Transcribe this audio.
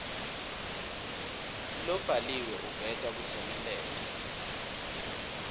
lobhaliwe uveta kutsemeleta